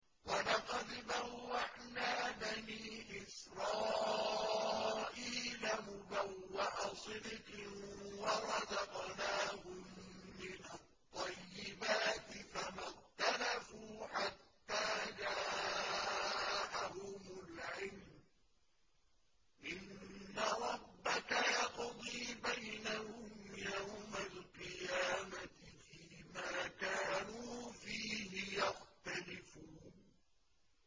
وَلَقَدْ بَوَّأْنَا بَنِي إِسْرَائِيلَ مُبَوَّأَ صِدْقٍ وَرَزَقْنَاهُم مِّنَ الطَّيِّبَاتِ فَمَا اخْتَلَفُوا حَتَّىٰ جَاءَهُمُ الْعِلْمُ ۚ إِنَّ رَبَّكَ يَقْضِي بَيْنَهُمْ يَوْمَ الْقِيَامَةِ فِيمَا كَانُوا فِيهِ يَخْتَلِفُونَ